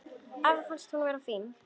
Afa fannst hún vera fín.